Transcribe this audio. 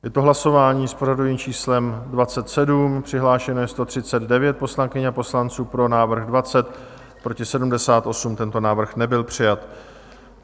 Je to hlasování s pořadovým číslem 27, přihlášeno je 139 poslankyň a poslanců, pro návrh 20, proti 78, tento návrh nebyl přijat.